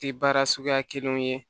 Tɛ baara suguya kelenw ye